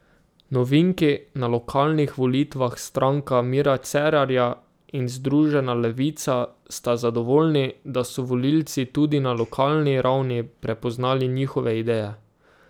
Novinki na lokalnih volitvah Stranka Mira Cerarja in Združena levica sta zadovoljni, da so volilci tudi na lokalni ravni prepoznali njihove ideje.